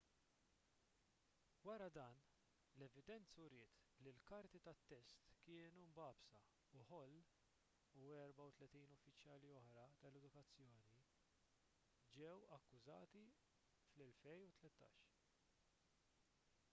wara dan l-evidenza uriet li l-karti tat-test kienu mbagħbsa u hall u 34 uffiċjali oħra tal-edukazzjoni ġew akkużati fl-2013